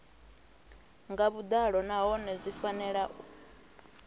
nga vhuḓalo nahone zwi fanela